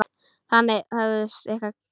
Þannig hófust okkar kynni.